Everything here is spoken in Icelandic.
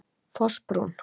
Fossbrún